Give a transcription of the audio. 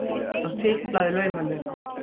Hann tiplaði laumulega.